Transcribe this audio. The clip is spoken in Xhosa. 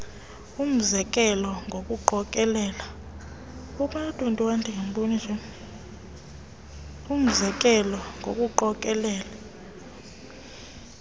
umze kelo ngokuqokelela